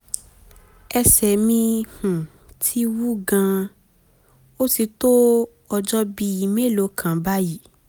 ẹsẹ̀ mi um ti wú gan-an um ó ti tó ọjọ́ bíi mélòó kan báyìí